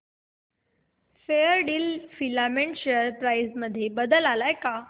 Fairdeal filament share price मध्ये बदल आलाय का